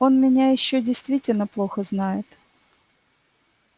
он меня ещё действительно плохо знает